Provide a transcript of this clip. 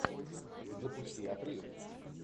запусти отрыв